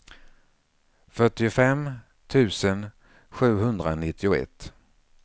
fyrtiofem tusen sjuhundranittioett